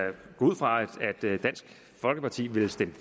gå ud fra at dansk folkeparti vil stemme